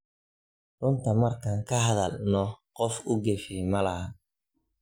Runta marka kahadhal nox qof uugafe malaxan.